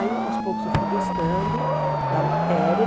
Aí aos poucos eu fui gostando da matéria.